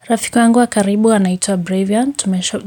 Rafiki wangu wa karibu anaitwa Bravian,